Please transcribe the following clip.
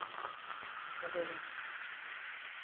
Para Belém.